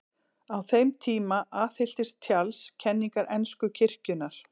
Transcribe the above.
Á þeim tíma aðhylltist Charles kenningar ensku kirkjunnar.